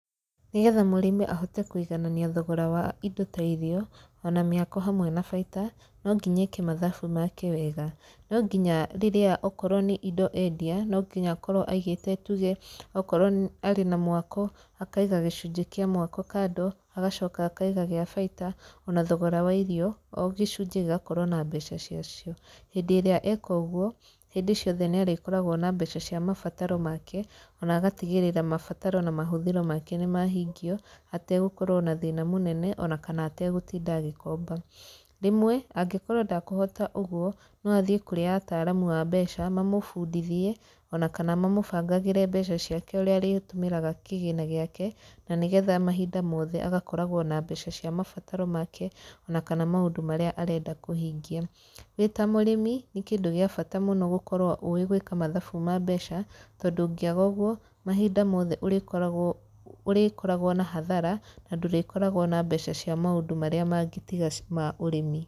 Nĩ getha mũrĩmi ahote kũiganania thogora wa indo ta irio, ona mĩako hamwe na baita, no nginya eke mathabu make wega. No nginya rĩrĩa okorwo nĩ indo endia, no nginya akorwo aigĩte tuge okorwo arĩ na mwako akaiga gĩcunjĩ kĩa mwako kando agacoka akaiga gĩa baita ona thogora wa irio o gĩcunjĩ gĩgakorwo na mbeca cia cio. Hĩndĩ ĩrĩa eka ũguo, hĩndĩ ciothe nĩ arĩkoragwo na mbeca cia mabataro make, ona agatigĩrĩra mabataro na mahũthĩro make nĩ mahingio ategũkorwo na thĩna mũnene ona kana ategũtinda agĩkomba. Rĩmwe, angĩkorwo ndakũhota ũguo, no athiĩ kũrĩ ataaramu a mbeca , mamũbundithie ona kana mamũbangagĩre mbeca ciake ũrĩa arĩtũmĩraga kĩgĩna gĩkae, na nĩ getha mahinda mothe agakoragwo na mbeca cia mabataro make ona kana maũndũ marĩa arenda kũhingia. Wĩ ta mũrĩmi, nĩ kĩndũ gĩa bata mũno gũkorwo ũĩ gwĩka mathabu ma mbeca, tondũ ũngĩaga ũguo, mahinda mothe ũrĩkoragwo ũrĩkoragwo na hathara na ndũrĩkoragwo na mbeca cia maũndũ marĩa mangĩ tiga ma ũrĩmi.